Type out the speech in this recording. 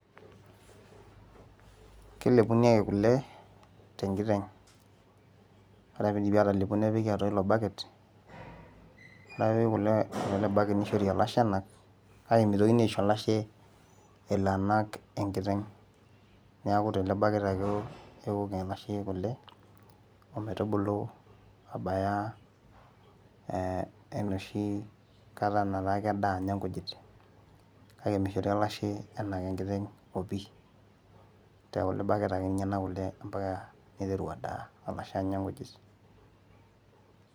kelepuni ake kule tenkiteng ore piidipi atalepu nepiki atua ilo bucket ore ake peepiki kule atua ele bucket nishori olashe enak kake mitokini aisho olashe elo anak enkiteng niaku tele bucket ake ewok, ewok ele ashe kule ometubulu abaya eh enoshi kata nataa kedaa anya inkujit kake mishori olashe enak enkiteng opi tekule bucket ake ninye enak kule ampaka niteru adaa olashe anya nkujit.